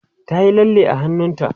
ta Yi lalle a hannunta